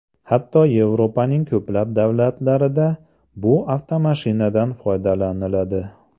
Hatto Yevropaning ko‘plab davlatlarida bu avtomashinadan foydalaniladi.